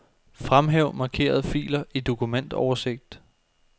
Fremhæv markerede filer i dokumentoversigt.